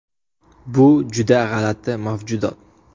Bu juda g‘alati mavjudot.